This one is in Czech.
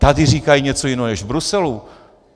Tady říkají něco jiného než v Bruselu!